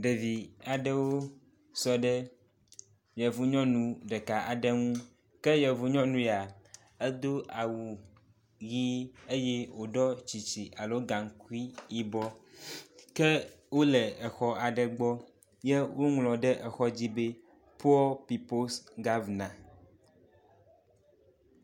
Ɖevi aɖewo sɔ ɖe yevu nyɔnu ɖeka aɖe ŋu, ke yevu nyɔnu ya, edo awu ʋi eye wòɖɔ tsitsi alo gaŋkui yibɔ. Ke wole exɔ aɖe gbɔ ye woŋlɔ ɖe exɔ dzi be “Poor people’s governance”